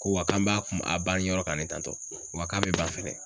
Ko wa k'an b'a kun a bani yɔrɔ ka ne tantɔ wa k'a bɛ ba fɛnɛ.